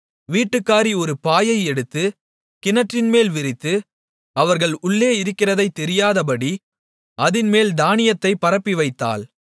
வீட்டுக்காரி ஒரு பாயை எடுத்து கிணற்றின்மேல் விரித்து அவர்கள் உள்ளே இருக்கிறதைத் தெரியாதபடி அதின்மேல் தானியத்தைப் பரப்பிவைத்தாள்